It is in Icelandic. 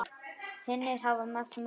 Hinir hafa misst móðinn.